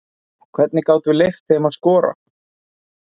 Og hvernig gátum við leyft þeim að skora?